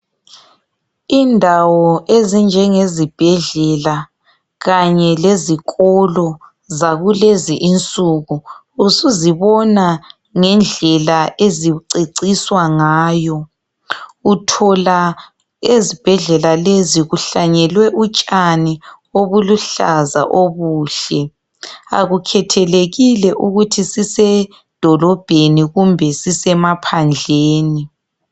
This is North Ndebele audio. Indawo ezinjenge zibhedlela kanye lezikolo zakulezi insuku usuzibona ngendlela eziceciswa ngayo. Uthola ezibhedlela lezi kuhlanyelwe utshani obuluhlaza obuhle .Akukhethelekile ukuthi sisedolobheni kumbe sisemaphandleni.